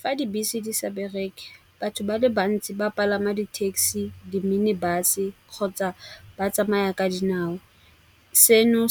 Fa dibese di sa bereke batho ba le bantsi ba palama di-taxi, di-minibus-e kgotsa ba tsamaya ka dinao. Seno